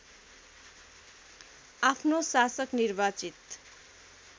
आफ्नो शासक निर्वाचित